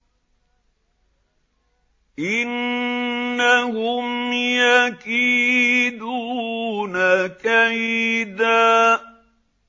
إِنَّهُمْ يَكِيدُونَ كَيْدًا